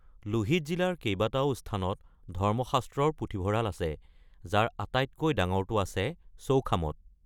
লোহিত জিলাৰ কেইবাটাও স্থানত ধৰ্মশাস্ত্ৰৰ পুথিভঁৰাল আছে, যাৰ আটাইতকৈ ডাঙৰটো আছে চৌখামত।